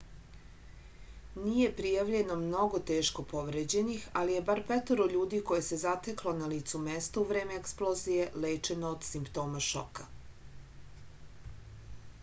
nije prijavljeno mnogo teško povređenih ali je bar petoro ljudi koje se zateklo na licu mesta u vreme eksplozije lečeno od simptoma šoka